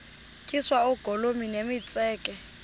tyiswa oogolomi nemitseke